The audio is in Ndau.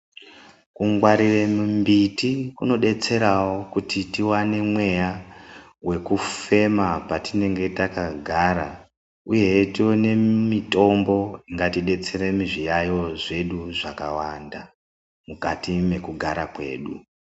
Kungwarire mumbiti kunodetserawo kuti tiwane mweya wekufema patinenge takagara uye tione mitombo ingatidetsera zviyayiyo zvedu zvakawanda mukati mwekugara kwedu.